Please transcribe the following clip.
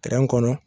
kɔnɔ